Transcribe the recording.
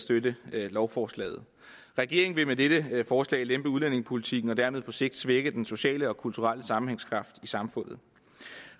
støtte lovforslaget regeringen vil med dette forslag lempe udlændingepolitikken og dermed på sigt svække den sociale og kulturelle sammenhængskraft i samfundet